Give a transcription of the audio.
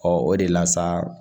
Ɔ o de la sa